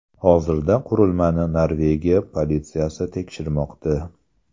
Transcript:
Hozirda qurilmani Norvegiya politsiyasi tekshirmoqda.